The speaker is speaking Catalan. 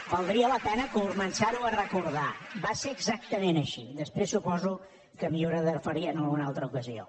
valdria la pena començar ho a recordar va ser exactament així després suposo que m’hi hauré de referir en alguna altra ocasió